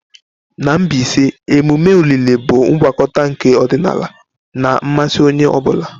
Na Mbaise, emume olili bụ ngwakọta nke ọdịnala na mmasị onye ọ bụla.